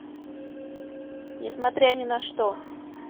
несмотря ни на что